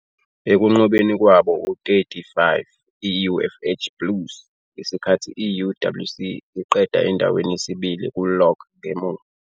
ekunqobeni kwabo u-30-5 i-UFH Blues, ngesikhathi i-UWC iqeda endaweni yesibili ku-log ngemuva